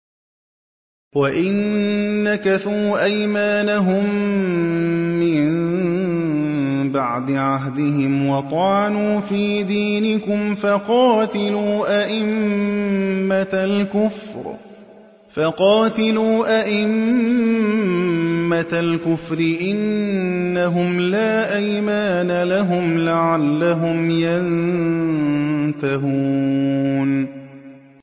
وَإِن نَّكَثُوا أَيْمَانَهُم مِّن بَعْدِ عَهْدِهِمْ وَطَعَنُوا فِي دِينِكُمْ فَقَاتِلُوا أَئِمَّةَ الْكُفْرِ ۙ إِنَّهُمْ لَا أَيْمَانَ لَهُمْ لَعَلَّهُمْ يَنتَهُونَ